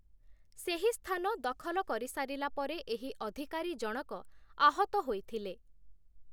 ସେହି ସ୍ଥାନ ଦଖଲ କରିସାରିଲା ପରେ ଏହି ଅଧିକାରୀ ଜଣକ ଆହତ ହୋଇଥିଲେ ।